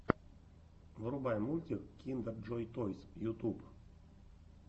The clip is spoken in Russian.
врубай мультик киндер джой тойс ютуб